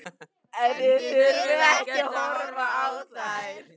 En þið þurfið ekkert að horfa á þær.